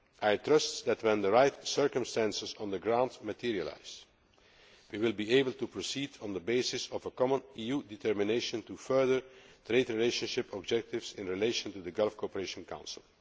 I trust that when the right circumstances on the ground materialise we will be able to proceed on the basis of a common EU determination to further trade relationship objectives in relation to the Gulf Cooperation Council.